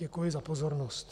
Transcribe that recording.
Děkuji za pozornost.